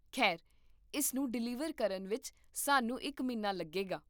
ਖੈਰ, ਇਸ ਨੂੰ ਡਿਲੀਵਰ ਕਰਨ ਵਿੱਚ ਸਾਨੂੰ ਇੱਕ ਮਹੀਨਾ ਲੱਗੇਗਾ